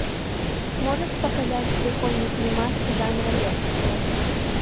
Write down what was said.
можешь показать прикольный фильмас жанра лекция